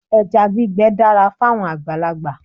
Ẹja gbígbẹ dára fáwọn àgbàlagbà